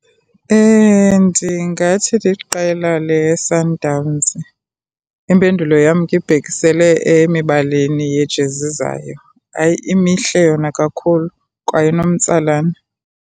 Ndingathi liqela leSundowns. Impendulo yam ke ibhekisele emibalini yejezi zayo. Hayi, mihle yona kakhulu kwaye inomtsalane.